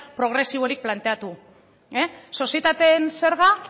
progresiborik planteatu sozietateen zerga